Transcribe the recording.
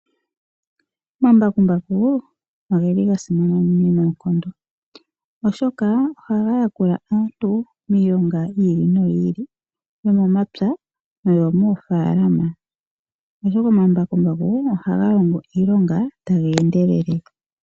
Omambakumbaku ogeli ga simana unene noonkondo, oshoka ohaga yakula aantu miilonga yiili noyiili , yomomapya noyo moofalama. Oshoka omambakumbaku ohaga longo iilonga taga endelele.